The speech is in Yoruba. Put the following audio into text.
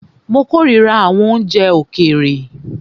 Mó kòrira àwọn oúnjẹ òkèèrè.